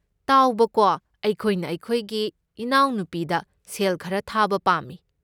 ꯇꯥꯎꯕꯀꯣ, ꯑꯩꯈꯣꯏꯅ ꯑꯩꯈꯣꯏꯒꯤ ꯏꯅꯥꯎꯅꯨꯄꯤꯗ ꯁꯦꯜ ꯈꯔ ꯊꯥꯕ ꯄꯥꯝꯃꯤ꯫